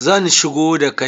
Zan shigo da kai